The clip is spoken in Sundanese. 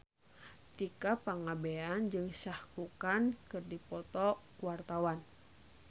Tika Pangabean jeung Shah Rukh Khan keur dipoto ku wartawan